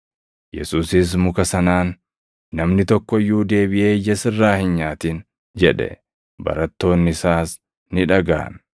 Yesuusis muka sanaan, “Namni tokko iyyuu deebiʼee ija sirraa hin nyaatin” jedhe. Barattoonni isaas ni dhagaʼan.